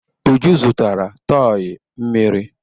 Uju zụtara tọị mmiri.